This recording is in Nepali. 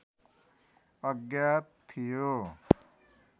अज्ञात थियो